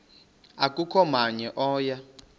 akukho namnye oya